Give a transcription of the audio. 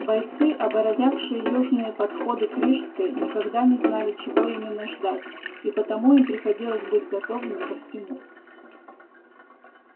бойцы оборонявшие южные подходы к рижской никогда не знали чего именно ждать и потому им приходилось быть готовыми ко всему